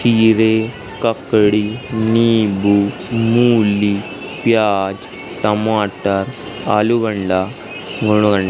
खीरे ककड़ी नींबू मूली प्याज टमाटर आलूबंडा --